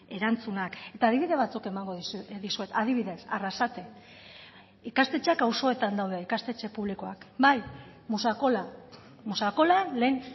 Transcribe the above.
erantzunak eta adibide batzuk emango dizuet adibidez arrasate ikastetxeak auzoetan daude ikastetxe publikoak bai musakola musakolan lehen